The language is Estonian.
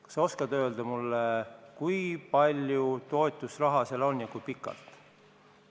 Kas sa oskad mulle öelda, kui palju toetusraha seal on ja kui pikalt seda makstakse?